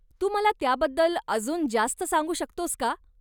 तू मला त्याबद्दल अजून जास्त सांगू शकतोस का?